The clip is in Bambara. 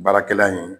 Baarakɛla in